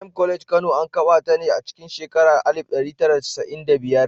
Prime College Kano, an kafa ta ne a cikin shekarar alif ɗari tara da casa’in da biyar.